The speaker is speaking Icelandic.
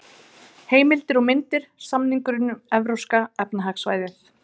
Heimildir og myndir: Samningurinn um Evrópska efnahagssvæðið.